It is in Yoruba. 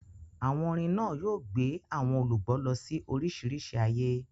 Àwọn orin náà yóò gbé àwọn olùgbọ́ lọ sí oríṣiríṣi ayé.